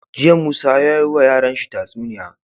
Jiya musa yayi wa yara tatsuniya